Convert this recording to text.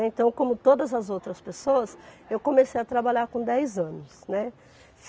Né. Então, como todas as outras pessoas, eu comecei a trabalhar com dez anos, né.